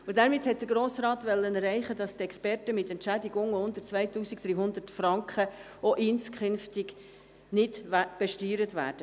Damit wollte der Grosse Rat erreichen, dass die Experten mit Entschädigungen unter 2300 Franken auch inskünftig nicht besteuert werden.